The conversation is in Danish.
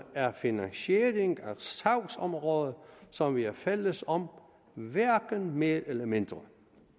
er finansiering af sagsområder som vi er fælles om hverken mere eller mindre